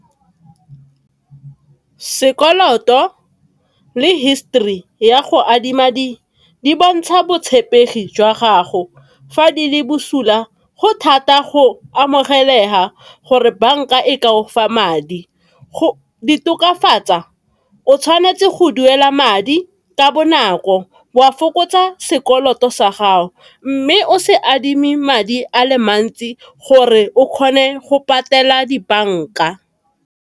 Sekoloto le history ya go adima di bontsha botshepegi jwa gago fa di le bosula, go thata go amogelesega gore bank-a e kafa madi. Go di tokafatsa o tshwanetse go duela madi ka bonako, o a fokotsa sekoloto sa gago mme o se adime madi ale mantsi gore o kgone go patela dibanka.